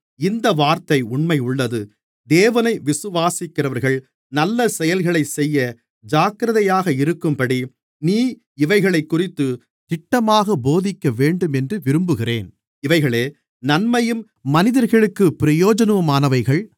இந்த வார்த்தை உண்மையுள்ளது தேவனை விசுவாசிக்கிறவர்கள் நல்ல செயல்களைச்செய்ய ஜாக்கிரதையாக இருக்கும்படி நீ இவைகளைக்குறித்துத் திட்டமாகப் போதிக்கவேண்டுமென்று விரும்புகிறேன் இவைகளே நன்மையும் மனிதர்களுக்குப் பிரயோஜனமுமானவைகள்